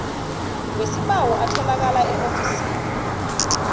wesibawo atholakala eofisini